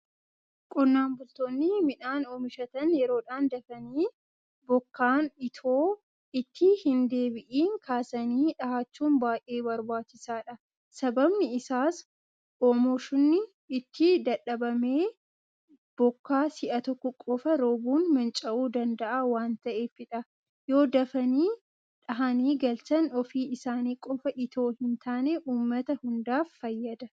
Qonnaan bultoonni midhaan oomishatan yeroodhaan dafanii bokkaan itoo itti hindeebi'in kaasanii dhahachuun baay'ee barbaachisaadha. Sababni isaas oomoshni itti dadhabame bokkaa si'a tokko qofa roobuun manca'uu danda'a waanta'eefidha. Yoodafanii dhahanii galchan ofii isaanii qofa itoo hintaane uummata hundaaf fayyada.